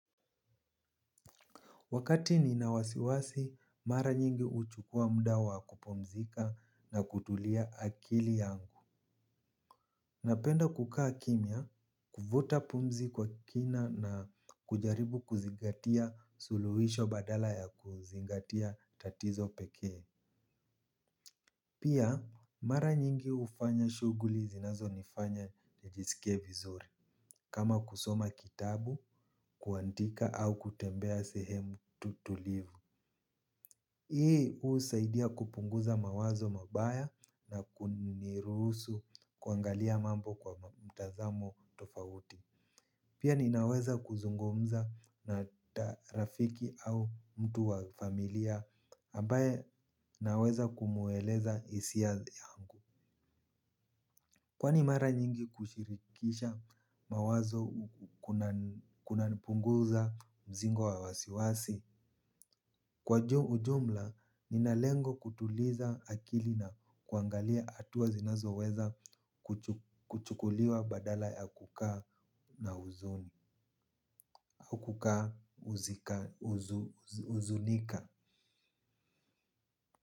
Wakati ninawasiwasi, mara nyingi uchukua mda wa kupumzika na kutulia akili yangu. Napenda kukaa kimia, kuvuta pumzi kwa kina na kujaribu kuzingatia suluhisho badala ya kuzingatia tatizo pekee. Pia, mara nyingi ufanya shuguli zinazo nifanya nijisikie vizuri, kama kusoma kitabu, kuantika au kutembea sehemu tutulivu. Hii uu saidia kupunguza mawazo mabaya na kunirusu kuangalia mambo kwa mtazamo tofawuti. Pia ninaweza kuzungumza na tarafiki au mtu wa familia ambaye naweza kumuweleza isia yangu. Kwani mara nyingi kushirikisha mawazo kuna punguza mzigo wa wasiwasi. Kwa ujumla, nina lengo kutuliza akili na kuangalia atuwa zinazo weza kuchukuliwa badala ya kukaa na uzunika.